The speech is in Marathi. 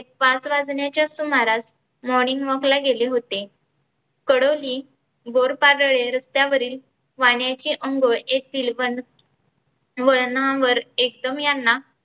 पाच वाजण्याच्या सुमारास morning walk ला गेले होते. कडोली बोरपादळे रस्त्यावरील पाण्याचे अंघोळ एक येथील वन वळणावर एकदम यांना